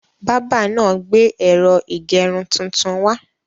Bábà náà gbé ẹ̀rọ ìgẹrun tuntun wá.